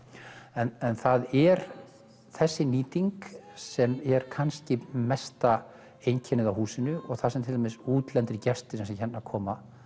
en það er þessi nýting sem er kannski mesta einkennið á húsinu og það sem til dæmis útlendir gestir sem sem hérna koma